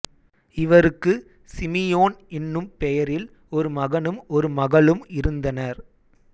இவருக்கு சிமியோன் என்னும் பெயரில் ஒரு மகனும் ஒரு மகளும் இருந்தனர்